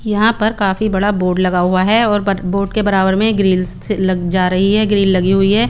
यहाँ पर काफी बड़ा बोर्ड लगा हुआ है और बोर्ड के बरा बर में ग्रिल्स लग जा रही है ग्रिल्स लग रही है।